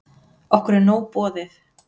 Okkur er nóg boðið